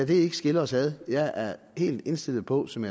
det skille os ad jeg er helt indstillet på som